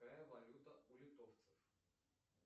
какая валюта у литовцев